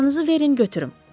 Çantanızı verin götürüm.